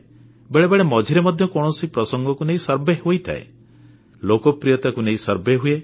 ବେଳେବେଳେ ମଝିରେ ମଧ୍ୟ କୌଣସି ପ୍ରସଙ୍ଗକୁ ନେଇ ସର୍ଭେ ହୋଇଥାଏ ଲୋକପ୍ରିୟତାକୁ ନେଇ ସର୍ଭେ ହୁଏ